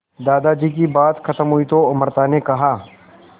दादाजी की बात खत्म हुई तो अमृता ने कहा